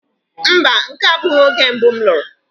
mba, nke a abụghị oge mbụ m lụrụ.